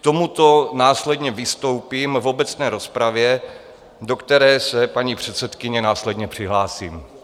K tomuto následně vystoupím v obecné rozpravě, do které se, paní předsedkyně, následně přihlásím.